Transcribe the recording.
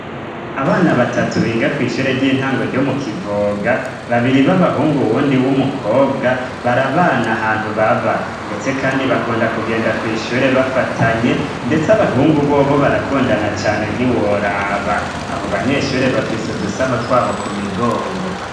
Abana batatu biga kw'ishure ry'intango ryo mu kivoga babiri b'abahungu wundi w'umukobwa barabana ahantu baba, ndetse, kandi bakunda kugenda kw'ishure bafatanye, ndetse abakungu bobo barakundana cane ntiworaba abo banyeshure bafise udusaho twabo ku migongo.